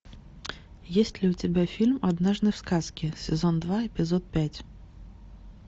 есть ли у тебя фильм однажды в сказке сезон два эпизод пять